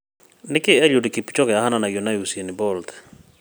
Nĩkĩĩ Eliud Kipchoge ahananagio na Usain Bolt?